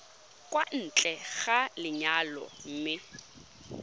kwa ntle ga lenyalo mme